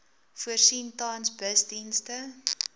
voorsien tans busdienste